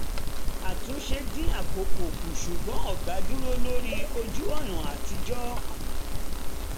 àtúnṣe dín àkókò kù ṣùgbọ́n ọ̀gá dúró lórí ojú-ọ̀nà àtijọ́